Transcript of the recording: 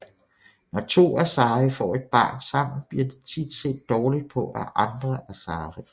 Når to Asari får et barn sammen bliver det tit set dårligt på af andre Asari